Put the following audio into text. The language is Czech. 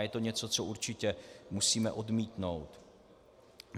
A je to něco, co určitě musíme odmítnout.